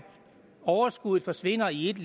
overskuddet forsvinder i et